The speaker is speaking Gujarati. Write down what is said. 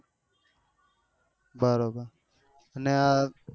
બેઓબે અન